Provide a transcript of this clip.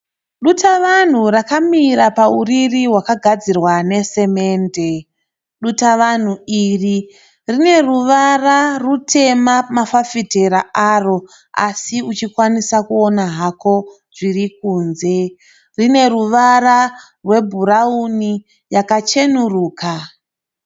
Dutavanhu rakamira pauriri hwaka gadzirwa nesimende. Dutavanhu iri rine ruvara rutema pama fafitera aro asi uchikwanisa kuona hako zviri kunze, rine ruvara rwebhurauni yacheneruka.